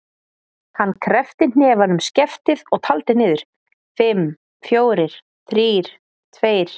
Hann kreppti hnefann um skeftið og taldi niður: fimm, fjórir, þrír, tveir.